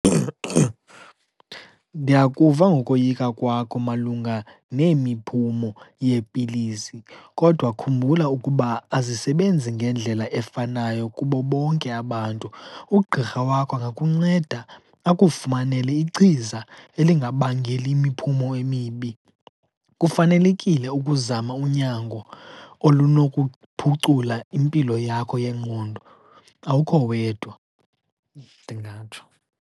Ndiyakuva ngokoyika kwakho malunga nemiphumo yeepilisi, kodwa khumbula ukuba azisebenzi ngendlela efanayo kubo bonke abantu. Ugqirha wakho angakunceda akufumanele ichiza elingabangeli imiphumo emibi. Kufanelekile ukuzama unyango olunokuphucula impilo yakho yengqondo. Awukho wedwa, ndingatsho.